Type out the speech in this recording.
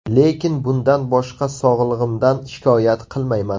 Lekin bundan boshqa sog‘lig‘imdan shikoyat qilmayman.